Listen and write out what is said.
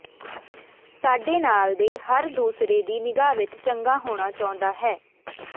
ਸਾਡੇ ਨਾਲ ਦੇ ਹਰ ਦੂਸਰੇ ਦੀ ਨਿਗਾਹ ਵਿੱਚ ਚੰਗਾ ਹੋਣਾ ਚਾਹੁੰਦਾ ਹੈ